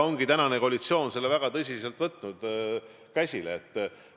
Koalitsioon on selle teema väga tõsiselt käsile võtnud.